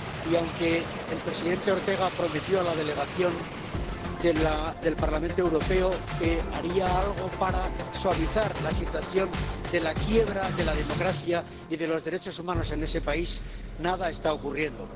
Y aunque el presidente Ortega prometió a la delegación del Parlamento Europeo que haría algo para suavizar la situación de la quiebra de la democracia y de los derechos humanos en ese país, nada está ocurriendo.